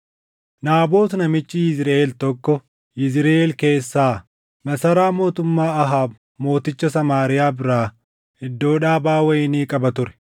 Naabot namichi Yizriʼeel tokko Yizriʼeel keessaa, masaraa mootummaa Ahaab mooticha Samaariyaa biraa iddoo dhaabaa wayinii qaba ture.